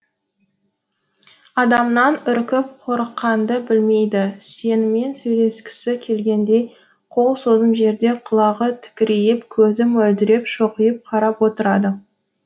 адамнан үркіп қорыққанды білмейді сенімен сөйлескісі келгендей қол созым жерде құлағы тікірейіп көзі мөлдіреп шоқиып қарап отырады